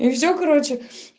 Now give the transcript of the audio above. и всё короче